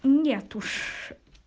нет уж